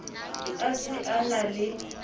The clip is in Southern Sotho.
a se a na le